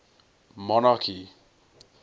monarchy